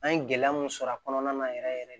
An ye gɛlɛya mun sɔrɔ a kɔnɔna na yɛrɛ yɛrɛ de